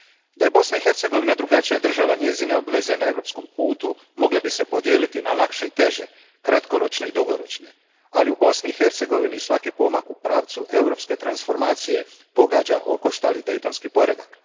Da je Bosna i Hercegovina drugačija država, njezine obveze na europskom putu mogle bi se podijeliti na lakše i teže, kratkoročne i dugoročne, ali u Bosni i Hercegovini svaki pomak u pravcu europske transformacije pogađa okoštali Dejtonski poredak.